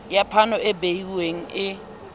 ya phano e behuweng e